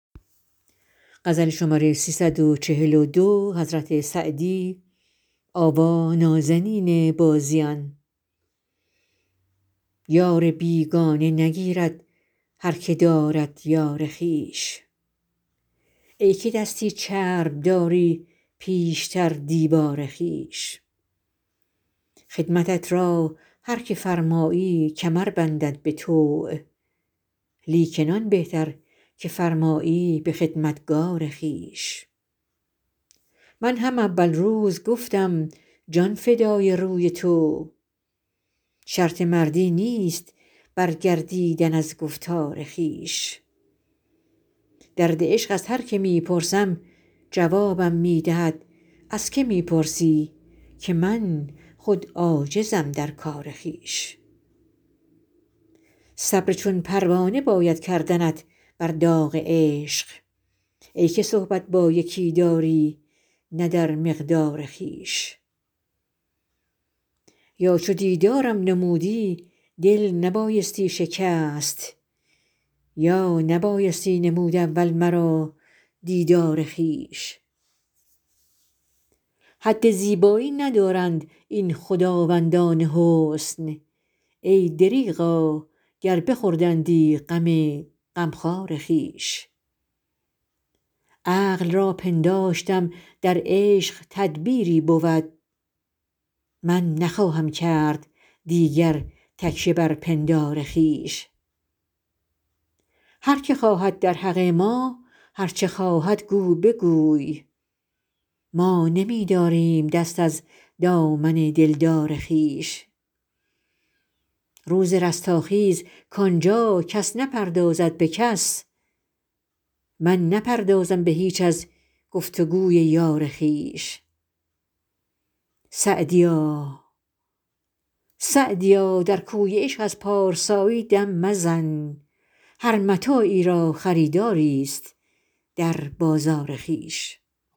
یار بیگانه نگیرد هر که دارد یار خویش ای که دستی چرب داری پیشتر دیوار خویش خدمتت را هر که فرمایی کمر بندد به طوع لیکن آن بهتر که فرمایی به خدمتگار خویش من هم اول روز گفتم جان فدای روی تو شرط مردی نیست برگردیدن از گفتار خویش درد عشق از هر که می پرسم جوابم می دهد از که می پرسی که من خود عاجزم در کار خویش صبر چون پروانه باید کردنت بر داغ عشق ای که صحبت با یکی داری نه در مقدار خویش یا چو دیدارم نمودی دل نبایستی شکست یا نبایستی نمود اول مرا دیدار خویش حد زیبایی ندارند این خداوندان حسن ای دریغا گر بخوردندی غم غمخوار خویش عقل را پنداشتم در عشق تدبیری بود من نخواهم کرد دیگر تکیه بر پندار خویش هر که خواهد در حق ما هر چه خواهد گو بگوی ما نمی داریم دست از دامن دلدار خویش روز رستاخیز کان جا کس نپردازد به کس من نپردازم به هیچ از گفت و گوی یار خویش سعدیا در کوی عشق از پارسایی دم مزن هر متاعی را خریداریست در بازار خویش